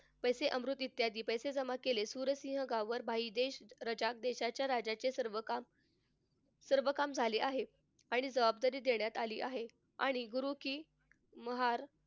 पैसे इत्यादी पैसे जमा केले सुराजसिंह भाई देश रजाक देशाच्या राजाचे सर्व काम सर्व काम झाले आहे. आणि जबाबदारी देण्यात आली आहे. आणि गुरु कि महाल,